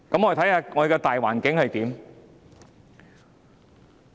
我們看看大環境如何？